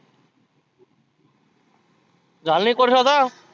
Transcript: झालंना एक वर्ष आता.